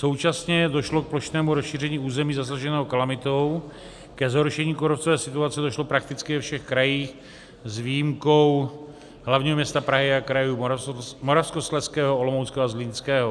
Současně došlo k plošnému rozšíření území zasaženého kalamitou, ke zhoršení kůrovcové situace došlo prakticky ve všech krajích s výjimkou hlavního města Prahy a krajů Moravskoslezského, Olomouckého a Zlínského.